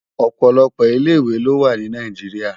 Òpòlòpò ilé iwé lo wá ni Nàijiriá